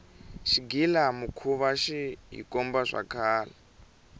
xighila mukhuva xi hikomba swa kahle